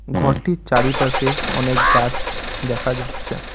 ঘরটির চারিপাশে অনেক গাছটস দেখা যাচ্ছে।